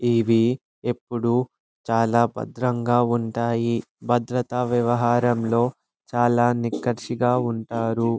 ఇవి ఎప్పుడు చాలా భద్రంగా ఉంటాయి. భద్రతా వ్యవహారంలో చాలా నిక్కచ్చిగా ఉంటాయి.